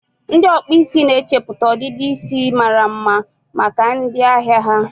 ndị ọkpụ isi na-echeputa ọdịdị isi mara mma maka ndị ahịa ha.